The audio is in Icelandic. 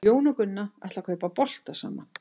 Jón og Gunna ætla að kaupa bolta saman.